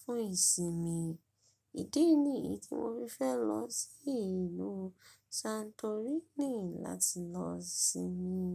fún ìsinmi. Ìdí nìyí tí mo fi fẹ́ lọ sí ìlú Santorini láti lọ sinmi.